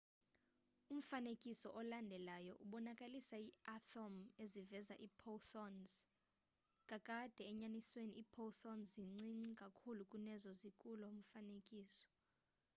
umfanekiso olandelayo ubonakalisa iiathom eziveza iiphotons kakade enyanisweni iiphoton zincinci kakhulu kunezo zikulo mfanekiso